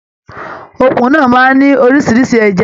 Òkun náà máa n ní oríṣiríṣi ẹja.